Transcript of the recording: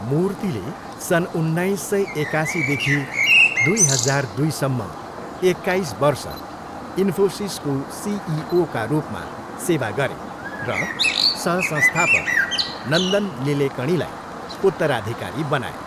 मूर्तिले सन् उन्नाइस सय एकासीदेखि दुई हजार दुईसम्म एक्काइस वर्ष इन्फोसिसको सिइओका रूपमा सेवा गरे र सह संस्थापक नन्दन निलेकणीलाई उत्तराधिकारी बनाए।